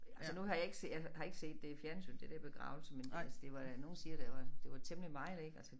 Altså nu har jeg ikke jeg har ikke set det i fjernsynet det der begravelse men altså det var da nogle siger der var det var temmelig meget ik altså